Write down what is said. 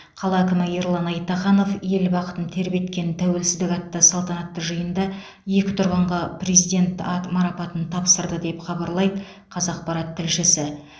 қала әкімі ерлан айтаханов ел бақытын тербеткен тәуелсіздік атты салтанатты жиында екі тұрғынға президент ат марапатын тапсырды деп хабарлайды қазақпарат тілшісі